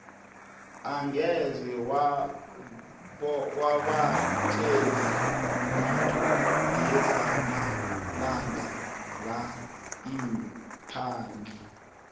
angeze wabatjela litho ngezamalanga la iimpahla